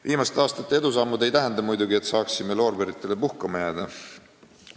Viimaste aastate edusammud ei tähenda muidugi, et saaksime loorberitele puhkama jääda.